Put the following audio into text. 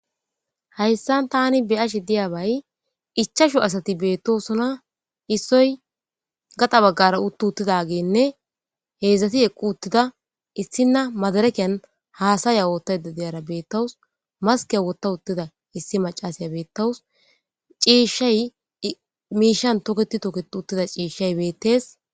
Hayssan thaani be7ashe diyaabay ichchashu asathi beeththoosona; issoy gaxa baggaara uththidi uththididaageenne heezzathi eqquuththida; issinna madrekiyan haasaya ooththaydda de7iyaara beeththawus; maskkiya woththa uththida issi maccasiya beeththawus; ciishshay miishshan tokeththi tokeththi uththiza ciishshay beeththees.